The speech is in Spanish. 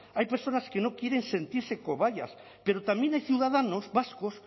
hay personas que no quieren sentirse cobayas pero también hay ciudadanos vascos